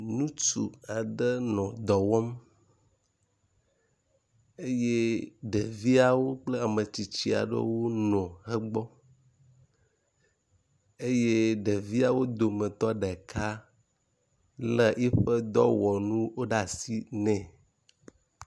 nutsu aɖe nɔ dɔwɔm eye ɖeviaɖewo kple ametsitsiaɖewo nɔ egbɔ eye. ɖeviawo dometɔ ɖeka le yiƒe dɔwɔnu ɖe asi nɛ